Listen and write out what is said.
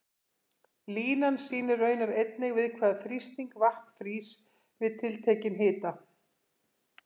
Línan sýnir raunar einnig við hvaða þrýsting vatn frýs við tiltekinn hita.